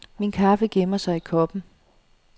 Min kaffe gemmer sig i koppen.